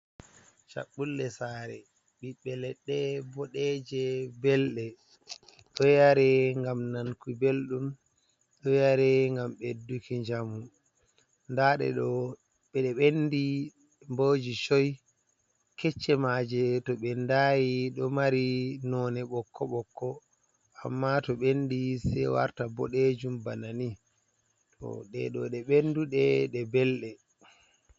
Chaɓɓulle sare. Ɓiɓɓe leɗɗe boɗeje, belɗe, ɗo yare ngam nanki belɗum. Ɗo yare ngam ɓedduki njamu, nda ɗe ɗo ɓendi boji choi. Kecce maje to ɓe ndayi ɗo mari none ɓokko ɓokko, amma to ɓendi sei warta boɗejum bana ni. Ɗe ɗo ɗe ɓenduɗe ɗe belɗe.